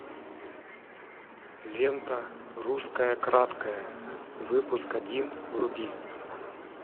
лента русская краткая выпуск один вруби